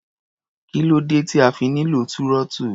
Kí ló dé tí a fi nílò túrọ́tù?